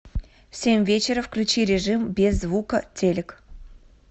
в семь вечера включи режим без звука телик